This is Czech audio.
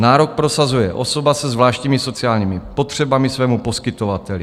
Nárok prosazuje osoba se zvláštními sociálními potřebami svému poskytovateli.